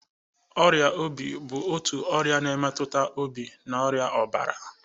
Ọrịa obi bụ otu ọrịa na-emetụta obi na arịa ọbara